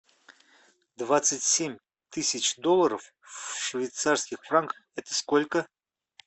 двадцать семь тысяч долларов в швейцарских франках это сколько